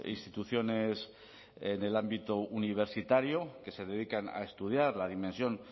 instituciones en el ámbito universitario que se dedican a estudiar la dimensión